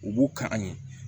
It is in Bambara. U b'u ka an ɲe